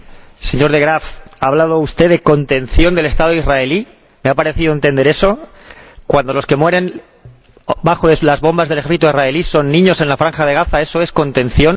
Señor De Graaf, ¿ha hablado usted de contención del Estado israelí —me ha parecido entender eso—, cuando los que mueren bajo las bombas del ejército israelí son niños en la Franja de Gaza? ¿Eso es contención?